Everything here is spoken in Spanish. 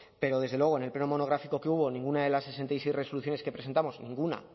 pero desde luego en el pleno monográfico que hubo ninguna de las sesenta y seis resoluciones que presentamos ninguna